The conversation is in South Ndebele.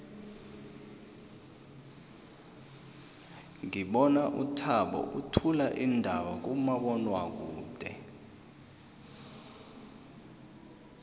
ngibona uthabo uthula iindaba kumabonwakude